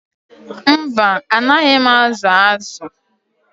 Mba, anaghị m azụ azụ